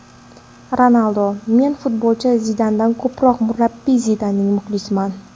Ronaldu: Men futbolchi Zidandan ko‘proq murabbiy Zidanning muxlisiman.